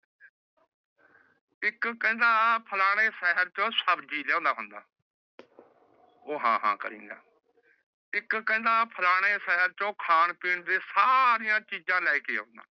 ਏਕ ਕਹਿੰਦਾ ਫਲਾਣੇ ਸ਼ਹਰ ਚੋ ਸਬਜੀ ਲਿਆਂਦਾ ਹੁੰਦਾ ਓਹ ਹਾਂ ਹਾਂ ਕਰੀ ਜਾਂਦਾ ਇਕ ਕਹੰਦਾ ਫਲਾਣੇ ਸ਼ਹਰ ਚੋ ਖਾਨ ਪੀਣ ਦੀ ਸਾਰਿਯਾ ਚੀਜ਼ਾ ਲੈ ਕੇ ਆਉਂਦਾ